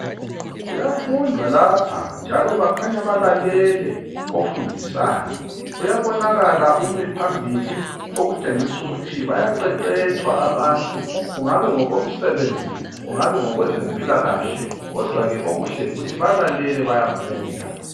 Kuyafundwa lapha, njalo bakhanya balalele ofundisayo. Kuyabonakala umi phambili okutshengisa ukuthi bayaqeqetshwa abantu, kungaba ngokomsebenzi, kungaba ngokwezempilakahle, kodwa okuhle yikuthi balalele bayafunda.